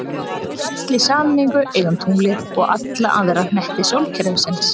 Við öll í sameiningu eigum tunglið og alla aðra hnetti sólkerfisins!